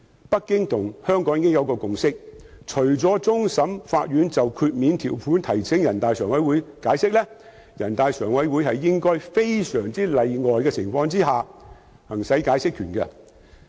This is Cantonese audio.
北京政府與香港政府已達成共識，除終審法院就豁免條款提請人大常委會解釋，人大常委會應該在非常例外的情況下行使解釋權。